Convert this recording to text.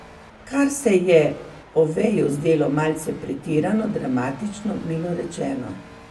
Kar se je Oveju zdelo malce pretirano dramatično, milo rečeno.